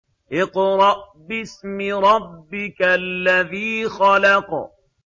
اقْرَأْ بِاسْمِ رَبِّكَ الَّذِي خَلَقَ